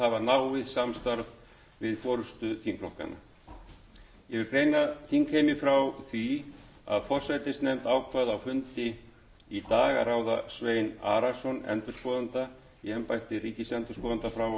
náið samstarf við forustu þingflokkanna ég vil greina þingheimi frá því að forsætisnefnd ákvað á fundi í dag að ráða svein arason endurskoðanda